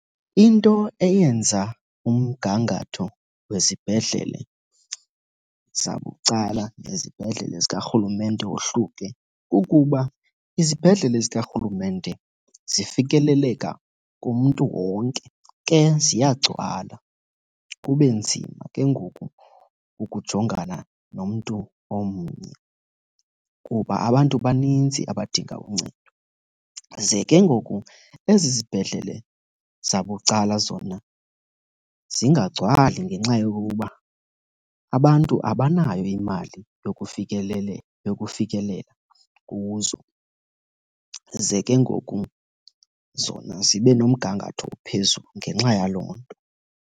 Into eyenza umgangatho wezibhedlele zabucala nezibhedlele zikarhulumente wohluke kukuba izibhedlele zikarhulumente zifikeleleka kumntu wonke. Ke ziyagcwala kube nzima ke ngoku ukujongana nomntu omnye kuba abantu banintsi abadinga uncedo. Ze ke ngoku ezi zibhedlele zabucala zona zingagcwali ngenxa yokokuba abantu abanayo imali yokufikelela kuzo, ze ke ngoku zona zibe nomgangatho ophezulu ngenxa yaloo nto.